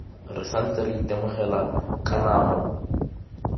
re santse re itemogela kanamo